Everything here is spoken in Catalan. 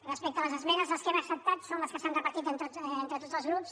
respecte a les esmenes les que hem acceptat són les que s’han repartit entre tots els grups